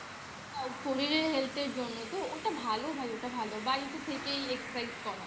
শরীরের Health এর জন্য তো ওটা ভালো ভাই ওটা ভালো বাড়িতে থেকেই Excercise করা